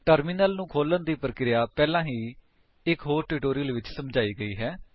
terminal ਨੂੰ ਖੋਲ੍ਹਣ ਦੀ ਪਰਿਕ੍ਰੀਆ ਪਹਿਲਾਂ ਹੀ ਇੱਕ ਹੋਰ ਟਿਊਟੋਰਿਅਲ ਵਿੱਚ ਸਮਝਾਈ ਗਈ ਹੈ